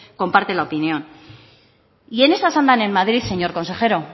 comparte la opinión y en esas andan en madrid señor consejero